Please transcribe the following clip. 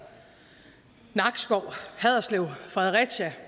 nakskov haderslev fredericia